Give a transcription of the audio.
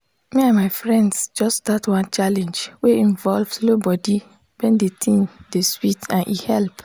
me and my friends just start one challenge wey involve slow body when the thing dey sweet and e help.